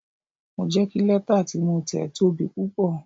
Mo jẹ́ kí lẹ́tà tí mo tẹ̀ tóbi púpọ̀.